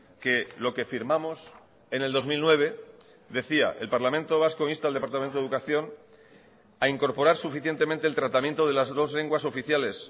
que lo que firmamos en el dos mil nueve decía el parlamento vasco insta al departamento de educación a incorporar suficientemente el tratamiento de las dos lenguas oficiales